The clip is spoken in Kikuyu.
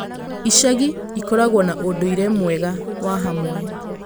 Icagi ĩkoragwo na ũndũire mwega wa hamwe.